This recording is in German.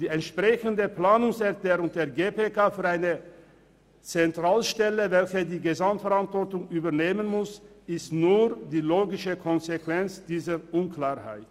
Die entsprechende Planungserklärung der GPK für eine Zentralstelle, welche die Gesamtverantwortung übernehmen muss, ist nur die logische Konsequenz dieser Unklarheit.